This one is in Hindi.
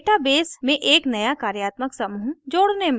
डेटा बेस में एक नया कार्यात्मक समूह जोड़ने में